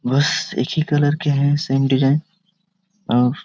बस एक ही कलर के है सेम डिजाइन और --